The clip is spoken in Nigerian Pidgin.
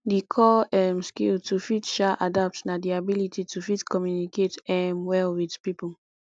di core um skill to fit um adapt na di ability to fit communicate um well with pipo